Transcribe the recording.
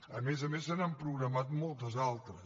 a més a més se n’han programat moltes altres